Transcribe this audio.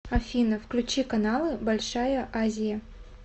афина включи каналы большая азия